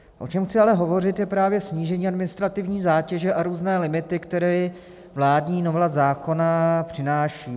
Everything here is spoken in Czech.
O čem chci ale hovořit, je právě snížení administrativní zátěže a různé limity, které vládní novela zákona přináší.